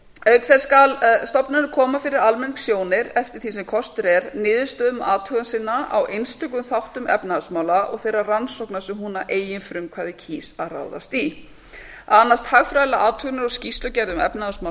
auk þess skal stofnunin koma fyrir almenningssjónir eftir því sem kostur er niðurstöðum athugana sinna á einstökum þáttum efnahagsmála og þeirra rannsókna sem hún að eigin frumkvæði kýs að ráðast í fjórða að annast hagfræðilegar athuganir og skýrslugerð um efnahagsmál